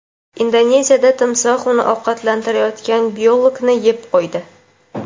Indoneziyada timsoh uni ovqatlantirayotgan biologni yeb qo‘ydi.